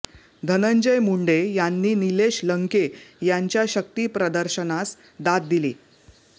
धनंजय मुंडे यांनी नीलेश लंके यांच्या शक्तिप्रदर्शनास दाद दिली